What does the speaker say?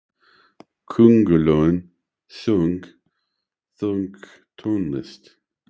Köngulóin söng pönktónlist!